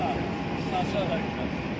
Baxın, sağa da gedirsiniz.